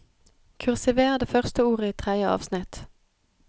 Kursiver det første ordet i tredje avsnitt